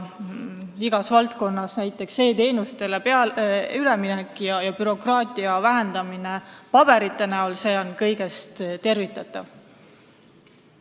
Igas valdkonnas on näiteks e-teenustele üleminek ja bürokraatia ehk paberite vähendamine tervitatav.